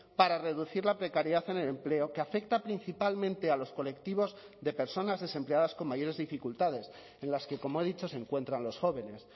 para reducir la precariedad en el empleo que afecta principalmente a los colectivos de personas desempleadas con mayores dificultades en las que como he dicho se encuentran los jóvenes